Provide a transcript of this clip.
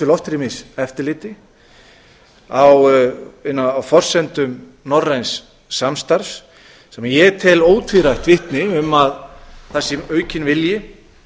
loftrýmiseftirliti á forsendum norræns samstarfs sem ég tel ótvírætt vitni um að það sé aukinn vilji